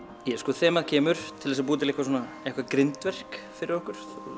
þemað kemur til að búa til eitthvað svona grindverk fyrir okkur